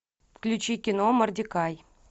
включи кино мордекай